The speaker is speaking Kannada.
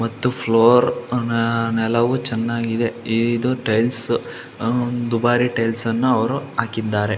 ಮತ್ತು ಫ್ಲೋರ್ ನ ನೆಲವು ಚೆನ್ನಾಗಿದೆ. ಇದು ಟೈಲ್ಸ್ ಹ್ಮ್ ದುಬಾರಿ ಟೈಲ್ಸ್ ನ್ನ ಅವರು ಹಾಕಿದ್ದಾರೆ.